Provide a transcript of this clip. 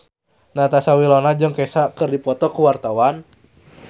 Natasha Wilona jeung Kesha keur dipoto ku wartawan